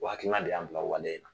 O hakilina de y'an bila wale